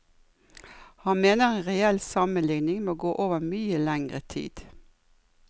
Han mener en reell sammenligning må gå over mye lengre tid.